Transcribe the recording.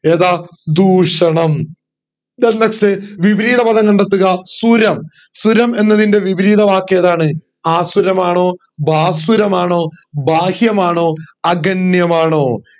ഏതാ ദൂഷണം then next വിപരീത പദം കണ്ടെത്തുക സുരം സുരമ എന്നതിൻറെ വിപരീത വാക്ക് ഏതാണ് ആസുരമനോ ഭാസുരമാണോ ബാഹ്യമനോ അഗണ്യമാണോ